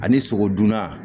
Ani sogo dunna